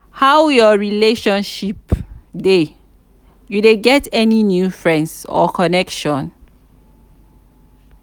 how your relationship dey you dey get any new friends or connections?